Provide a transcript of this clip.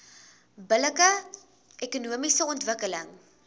billike ekonomiese ontwikkeling